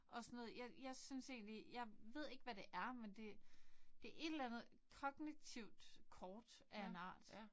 Og sådan noget jeg jeg synes egentlig jeg ved ikke hvad det er men det det et eller andet kognitivt kort af en eller anden art